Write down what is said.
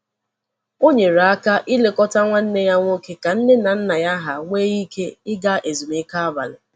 O nyere aka ilekọta nwanne ya nwoke ka nne na nna ha nwee ike ịga ezumike abalị.